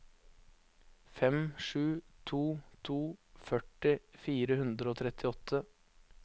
fem sju to to førti fire hundre og trettiåtte